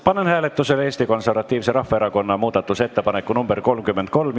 Panen hääletusele Eesti Konservatiivse Rahvaerakonna muudatusettepaneku nr 33.